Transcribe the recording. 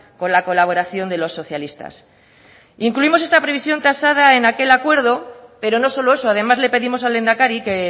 con la colaboración de los socialistas incluimos esta previsión tasada en aquel acuerdo pero no solo eso además le pedimos al lehendakari que